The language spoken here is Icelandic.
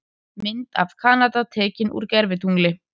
Mynd af Kanada tekin úr gervitungli.